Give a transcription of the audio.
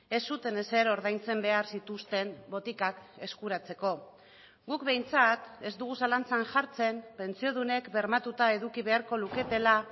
ez zuten ezer ordaintzen behar zituzten botikak eskuratzeko guk behintzat ez dugu zalantzan jartzen pentsiodunek bermatuta eduki beharko luketela